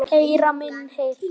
Heyra minni heyrn.